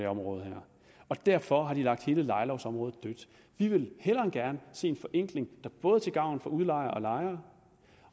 område og derfor har de lagt hele lejelovsområdet dødt vi vil hellere end gerne se en forenkling der både er til gavn for udlejere og lejere